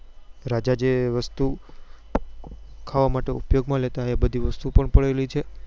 રાજા જે વસ્તુ ખાવા માટે ઉપયોગ માં લેતા એ બધી વસ્તુ પણ પડેલી છે